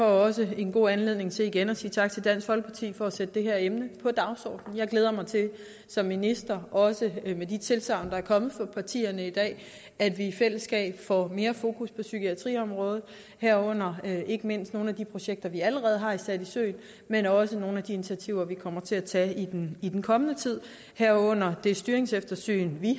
også en god anledning til igen at sige tak til dansk folkeparti for at sætte det her emne på dagsordenen jeg glæder mig til som minister også med de tilsagn der er kommet fra partierne i dag at vi i fællesskab får mere fokus på psykiatriområdet herunder ikke mindst med nogle af de projekter vi allerede har sat i søen men også med nogle af de initiativer vi kommer til at tage i den i den kommende tid herunder det styringseftersyn